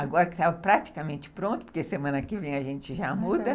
Agora que estava praticamente pronto, porque semana que vem a gente já muda.